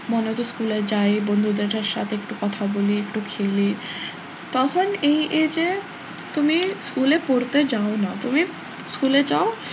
মনে হত school এ যায় বন্ধুদের সাথে একটু কথা বলি একটু খেলি তখন এই age এ তুমি school এ পড়তে যাও না তুমি school এ যাও,